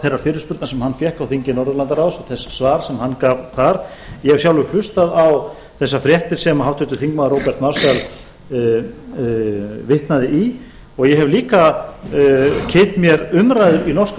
þeirrar fyrirspurnar sem hann fékk á þingi norðurlandaráðs og þess svars sem hann gaf þar ég hef sjálfur hlustað á þessar fréttir sem háttvirtur þingmaður róbert marshall vitnaði í og ég hef líka kynnt mér umræður í norska